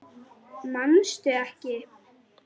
Manstu ekki?